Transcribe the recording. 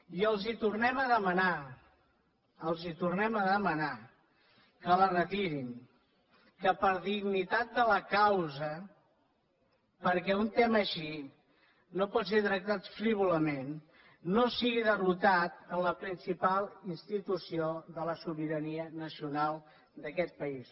i els tornem a demanar els tornem a demanar que la retirin que per dignitat de la causa perquè un tema així no pot ser tractat frívolament no sigui derrotat en la principal institució de la sobirania nacional d’aquest país